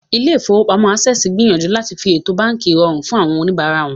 Ilé-ìfowópamọ́sí Access ń gbìyànjú láti fi ètò báànkì rọrùn fún àwọn oníbàárà wọn